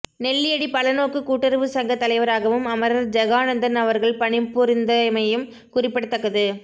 நெல்லியடி பலநோக்கு கூட்டுறவு சங்க தலைவராகவும் அமரர் ஜெகானந்தன் அவர்கள் பணிபுரிந்திருந்தமையும் குறிப்பிடத்தக்கது